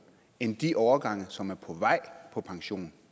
end de årgange som er på vej på pension